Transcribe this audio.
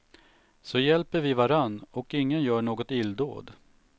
Så hjälper vi varann, och ingen gör något illdåd.